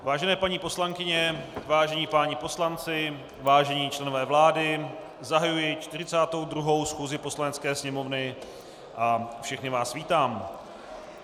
Vážené paní poslankyně, vážení páni poslanci, vážení členové vlády, zahajuji 42. schůzi Poslanecké sněmovny a všechny vás vítám.